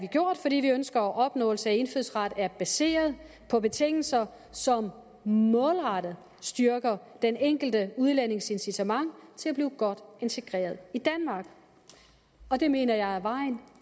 gjort fordi vi ønsker at opnåelse af indfødsret er baseret på betingelser som målrettet styrker den enkelte udlændings incitament til at blive godt integreret i danmark og det mener jeg er vejen